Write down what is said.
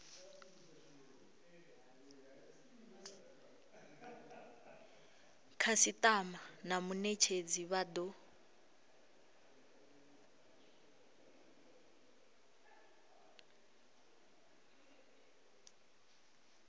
khasitama na munetshedzi vha do